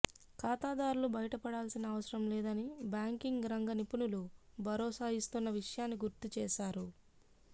ఖాతాదారులు బయపడాల్సిన అవసరం లేదని బ్యాంకింగ్ రంగ నిపుణులు భరోసా ఇస్తున్న విషయాన్ని గుర్తుచేశారు